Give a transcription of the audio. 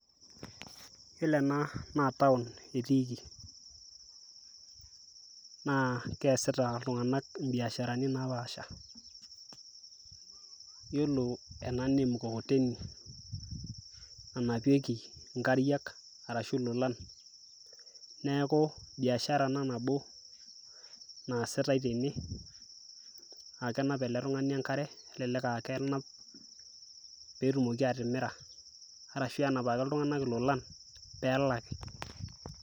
Iyiolo ena naa town etiiki naa keasita iltung'anak imbiasharni napaasha. Yiolo ena naa em mkokoteni nanapieki nkariak arashu lolan, neeku biashara ena nabo naasitai tene naa kenap ele tung'ani enkare, kelelek aa kenap pee etumoki atimira arashu enapaki iltung'anak ilolan pee elaki.